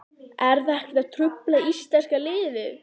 Er það ekkert að trufla íslenska liðið?